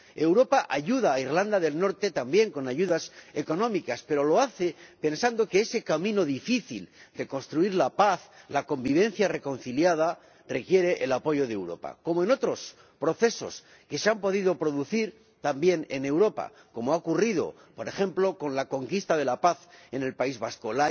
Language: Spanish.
Europa ayuda a Irlanda del Norte también con ayudas económicas, pero lo hace pensando que ese camino difícil de construir la paz, la convivencia reconciliada, requiere el apoyo de Europa como en otros procesos que se han podido producir también en Europa, como ha ocurrido, por ejemplo, con la conquista de la paz en el País Vasco.